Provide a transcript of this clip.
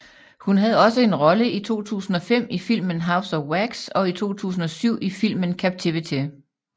Hun havde også en rolle i 2005 i filmen House of Wax og i 2007 i filmen Captivity